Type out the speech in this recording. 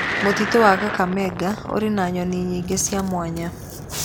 Mũtitũ wa Kakamega ũrĩ na nyoni nyingĩ cia mwanya.